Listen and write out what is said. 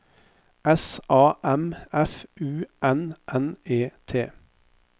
S A M F U N N E T